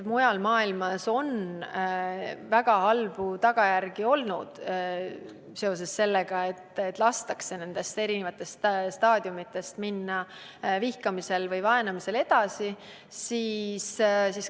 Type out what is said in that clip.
Mujal maailmas on olnud väga halvad tagajärjed sellel, kui vihkamisel või vaenamisel on lastud nendest eri staadiumitest edasi minna.